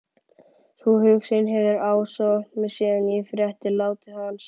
Sú hugsun hefur ásótt mig síðan ég frétti látið hans